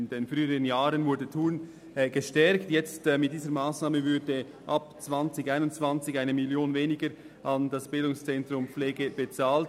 In früheren Jahren wurde der Standort Thun gestärkt, doch mit dieser Massnahme würden ab 2021 1 Mio. Franken weniger an das BZ Pflege bezahlt.